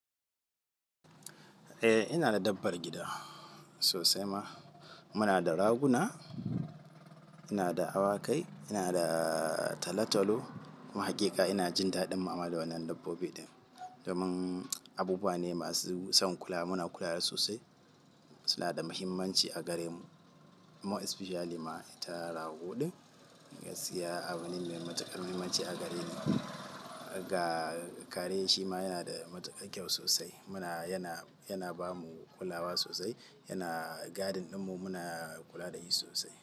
Eh, ina da dabbar gida sosai ma. Muna da raguna, ina da awakai, ina da talo-talo. Haƙiƙa ina jin daɗin mu'amala da wannan dabbobi ɗin domin abubuwa ne masu son kula. Muna kula da su sosai. Su na da muhimmanci a gare mu, more especially ma ita rago ɗin. Ina siya abi ne mai matuƙar muhimmanci a gare ni. Ga kare shima yana da matuƙar kyau sosai. Muna, yana, yana ba mu kulawa sosai. Yana gadin ɗin mu muna kula da shi sosai.